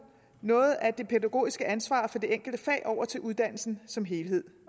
noget af det pædagogiske ansvar for det enkelte fag over til uddannelsen som helhed